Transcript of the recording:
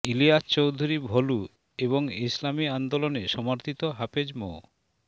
ইলিয়াছ চৌধুরী ভলু এবং ইসলামী আন্দোলনে সমর্থিত হাফেজ মো